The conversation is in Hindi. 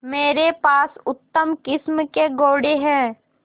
मेरे पास उत्तम किस्म के घोड़े हैं